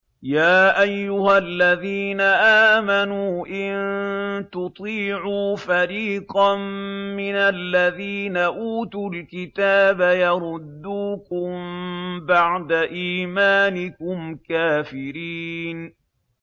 يَا أَيُّهَا الَّذِينَ آمَنُوا إِن تُطِيعُوا فَرِيقًا مِّنَ الَّذِينَ أُوتُوا الْكِتَابَ يَرُدُّوكُم بَعْدَ إِيمَانِكُمْ كَافِرِينَ